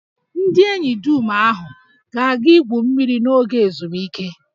Ndị enyi dum ahụ ga-aga igwu mmiri n'oge ezumike